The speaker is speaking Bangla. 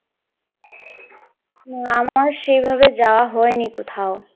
না আমার সেভাবে যাওয়া হয়নি কোথাও।